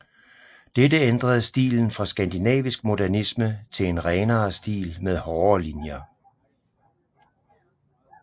Dette ændrede stilen fra skandinavisk modernisme til en renere stil med hårdere linjer